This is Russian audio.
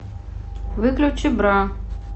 выключи бра